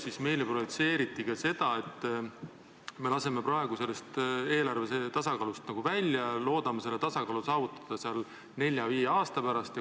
Siis meile projitseeriti ka seda, et me laseme praegu eelarve tasakaalust välja ja loodame selle tasakaalu saavutada nelja-viie aasta pärast.